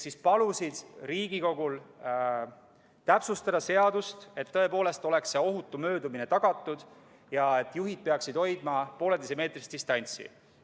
Nad palusid Riigikogul seadust täpsustada, et tõepoolest oleks ohutu möödumine tagatud ja et juhid hoiaksid pooleteisemeetrist distantsi.